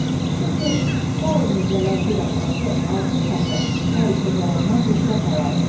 Çünki sair mirzələr bir Abbası, altı şahı hər işə gələndən rüşvət alardı.